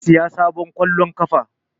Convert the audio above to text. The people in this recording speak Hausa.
Zai saya sabon ƙwallon ƙafa